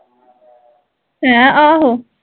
ਐਂ ਆਹੋ